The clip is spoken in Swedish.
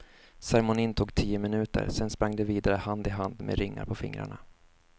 Ceremonin tog tio minuter, sen sprang de vidare hand i hand med ringar på fingrarna.